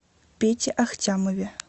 пете ахтямове